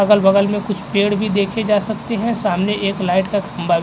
अगल-बगल में कुछ पेड़ भी देखे जा सकते हैं सामने एक लाइट का खम्बा भी --